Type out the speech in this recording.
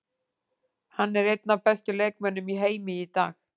Hann er einn af bestu leikmönnum í heimi í dag.